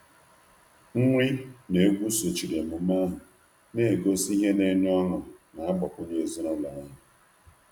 Nri na egwu sochiri emume ahụ, na-egosi ihe na-enye ọṅụ na-agbakwunye ezinụlọ ahụ.